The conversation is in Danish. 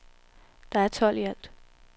Der er tolv i alt.